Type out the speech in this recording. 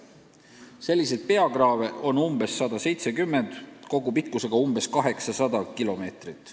Selliseid peakraave on umbes 170, nende kogupikkus on umbes 800 kilomeetrit.